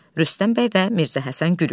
Rüstəm bəy və Mirzə Həsən gülürlər.